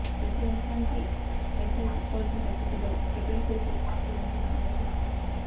ప్రతి అవసరానికీ పైసా వెతుక్కోవాల్సిన పరిస్థితుల్లో పెట్రోల్ పొదుపు గురించిన ఆలోచన వస్తుంది